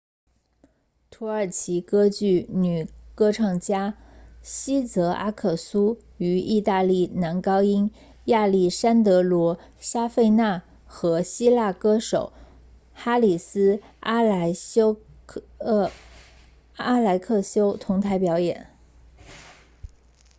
土耳其歌剧女歌唱家茜泽阿克苏 sezen aksu 与意大利男高音亚历山德罗沙费纳 alessandro safina 和希腊歌手哈里斯阿莱克修 haris alexiou 同台表演